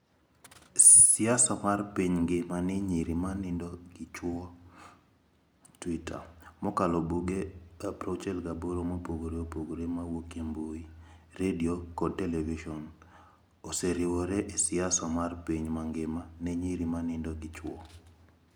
Picha: #NosDuelen56: siasa mar Piny Ngima ne Nyiri ma Nindo gi Chwo Twitter: mokalo buge 68 mopogore opogore mawuok e mbui, redio kod televison, oseriwore e siasa mar piny mangima ne nyiri ma nindo gi chwo.